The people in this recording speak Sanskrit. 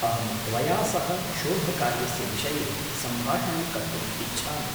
अहं त्वया सह शोधकार्यस्य विषये सम्भाषणं कर्तुम् इच्छामि।